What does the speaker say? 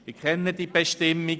Ich kenne diese Bestimmung.